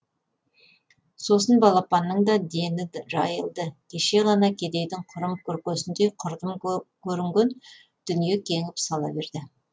сосын балпанның да дені жайылды кеше ғана кедейдің құрым күркесіндей құрдым көрінген дүние кеңіп сала берді